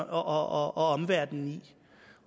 omverdenen i